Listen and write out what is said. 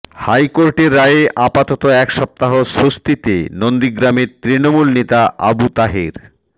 হাইকোর্টের রায়ে আপাতত এক সপ্তাহ স্বস্তিতে নন্দীগ্রামের তৃণমূল নেতা আবু তাহের